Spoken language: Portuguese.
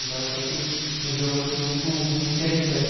Então é sempre um jogo assim muito muito interessante.